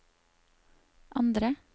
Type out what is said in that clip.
andre